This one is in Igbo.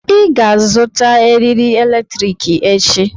Ị ga-azụta eriri eletrik echi.